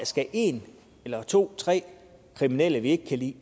skal en eller to eller tre kriminelle vi ikke kan lide